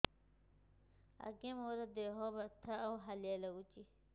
ଆଜ୍ଞା ମୋର ଦେହ ବଥା ଆଉ ହାଲିଆ ଲାଗୁଚି